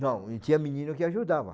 Não, eu tinha menino que ajudava.